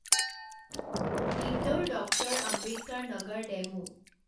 Indore doctor Ambedkar Nagar DEMU